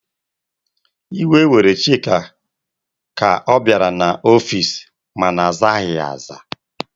Iwe were Chika ka ọ bịara n'ọfici makana azaghị ya aza.